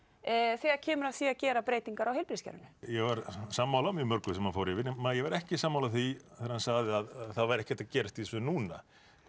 þegar kemur að því að gera breytingar á heilbrigðiskerfinu ég var sammála mjög mörgu sem hann fór yfir en ég var ekki sammála því að það væri ekkert að gerast í þessu núna